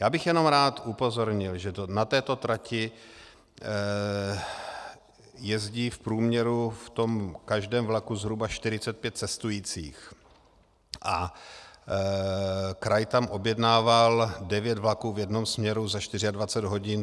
Já bych jenom rád upozornil, že na této trati jezdí v průměru v tom každém vlaku zhruba 45 cestujících a kraj tam objednával 9 vlaků v jednom směru za 24 hodin.